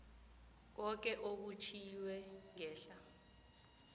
koke okutjhwiwe ngehla